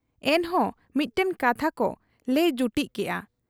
ᱮᱱᱦᱚᱸ ᱢᱤᱫᱴᱟᱹᱝ ᱠᱟᱛᱷᱟᱠᱚ ᱞᱟᱹᱭ ᱡᱩᱴᱤᱡ ᱠᱮᱜ ᱟ ᱾